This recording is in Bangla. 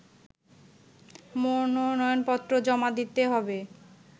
মনোনয়নপত্র জমা দিতে হবে